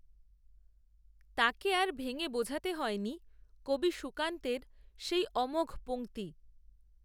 তাকে আর ভেঙে বোঝাতে হয়নি, কবি সুকান্তের, সেই, অমোঘ পঙক্তি